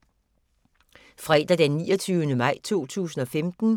Fredag d. 29. maj 2015